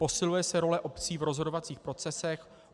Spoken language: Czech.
Posiluje se role obcí v rozhodovacích procesech.